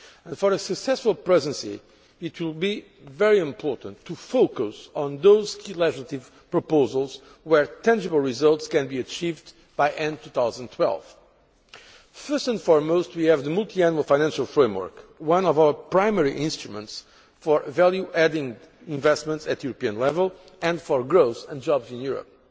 For a successful Presidency it will be very important to focus on those key legislative proposals where tangible results can be achieved by the end of 2012. First and foremost, we have the multiannual financial framework, one of our primary instruments for value adding investments at European level and for growth and jobs in Europe.